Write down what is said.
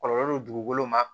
Kɔlɔlɔ don dugukolo ma